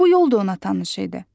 Bu yol da ona tanış idi.